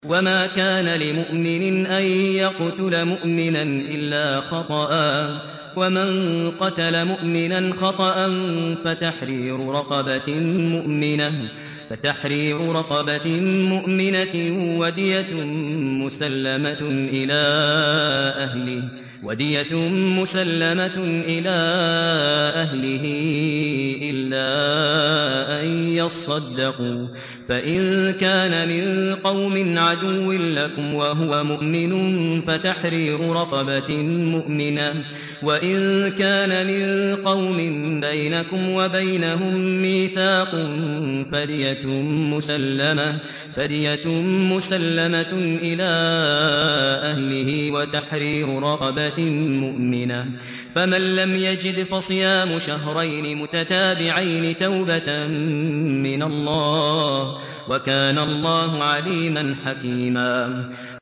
وَمَا كَانَ لِمُؤْمِنٍ أَن يَقْتُلَ مُؤْمِنًا إِلَّا خَطَأً ۚ وَمَن قَتَلَ مُؤْمِنًا خَطَأً فَتَحْرِيرُ رَقَبَةٍ مُّؤْمِنَةٍ وَدِيَةٌ مُّسَلَّمَةٌ إِلَىٰ أَهْلِهِ إِلَّا أَن يَصَّدَّقُوا ۚ فَإِن كَانَ مِن قَوْمٍ عَدُوٍّ لَّكُمْ وَهُوَ مُؤْمِنٌ فَتَحْرِيرُ رَقَبَةٍ مُّؤْمِنَةٍ ۖ وَإِن كَانَ مِن قَوْمٍ بَيْنَكُمْ وَبَيْنَهُم مِّيثَاقٌ فَدِيَةٌ مُّسَلَّمَةٌ إِلَىٰ أَهْلِهِ وَتَحْرِيرُ رَقَبَةٍ مُّؤْمِنَةٍ ۖ فَمَن لَّمْ يَجِدْ فَصِيَامُ شَهْرَيْنِ مُتَتَابِعَيْنِ تَوْبَةً مِّنَ اللَّهِ ۗ وَكَانَ اللَّهُ عَلِيمًا حَكِيمًا